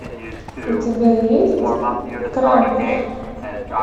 у тебя есть крампус